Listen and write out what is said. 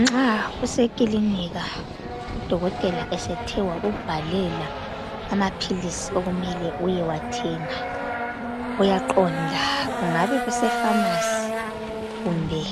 Nxa usekilinika udokotela esethe wakubhalela amaphilisi okumele uyewathenga, uyaqonda kungabe kuse phamasi kumbe